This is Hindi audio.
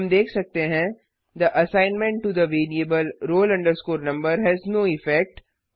हम देख सकते हैं the assignment to the variable roll number has no effect